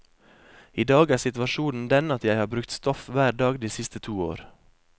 I dag er situasjonen den at jeg har brukt stoff hver dag de siste to år.